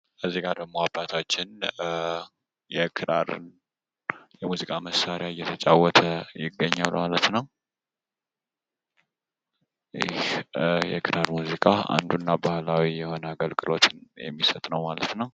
በዚህ ምስል ላይ ደግሞ አባታችን የክራር የሙዚቃ መሳሪያን እየተጫዎተ የሚያሳይ ምስል ነው ማለት ነው። ይህ ክራር የሙዚቃ መሳሪያ አንዱና ዋነኛው ባህላዊ አገልግሎት የሚሰጥ ነው ማለት ነው።